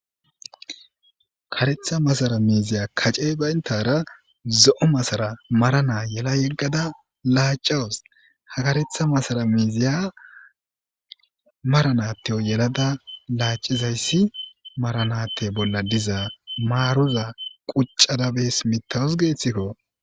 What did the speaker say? Karetha masara miiziya kace bayntara zo'o masara marana yela yeggada laacawus hakaretha masara miiziya maranateo yelada laacizayssi maranatte bolla diza maaruza quccada bees mitawus geethikko